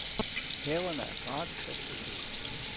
Haverne er gratis at besøge.